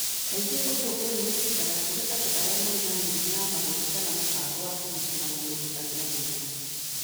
Kaingĩ ũndũ ũyũ wĩkĩkaga kũrĩ andũ arĩa marĩ na mĩrimũ ya mahũri kana mũbango wa kũgitĩra mwĩrĩ ũtarĩ na hinya.